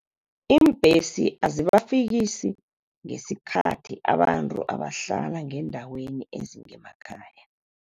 Iimbhesi azibafikisi ngesikhathi abantu abahlala ngeendaweni ezingemakhaya.